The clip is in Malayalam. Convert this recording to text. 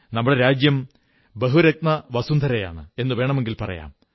നമ്മുടെ രാജ്യം ബഹുരത്ന വസുന്ധരയാണ് എന്നു പറയാം